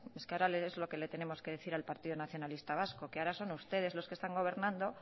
es que ahora es lo que le tenemos que decir al partido nacionalista vasco que ahora son ustedes los que están gobernando